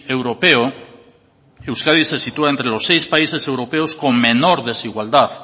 europeo euskadi se sitúa entre los seis países europeos con menor desigualdad